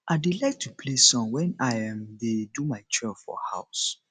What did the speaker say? i dey like to play song wen i um dey do my chore for house